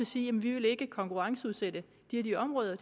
sige jamen vi vil ikke konkurrenceudsætte de og de områder